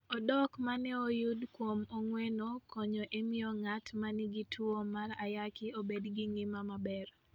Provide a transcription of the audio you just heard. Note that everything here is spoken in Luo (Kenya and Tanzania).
Odok ma ne oyud kuom ong'weno konyo e miyo ng'at ma nigi tuwo mar ayaki obed gi ngima maber.